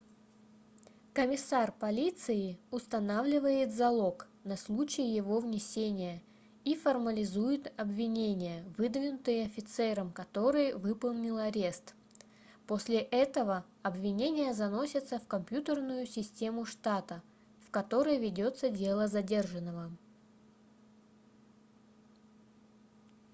комиссар полиции устанавливает залог на случай его внесения и формализует обвинения выдвинутые офицером который выполнил арест. после этого обвинения заносятся в компьютерную систему штата в которой ведется дело задержанного